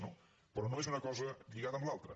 pe·rò no és una cosa lligada amb l’altra